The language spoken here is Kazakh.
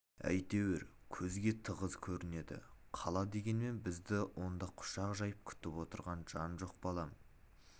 әйтеуір көзге тығыз көрінеді қала дегенмен бізді онда құшақ жайып күтіп отырған жан жоқ балам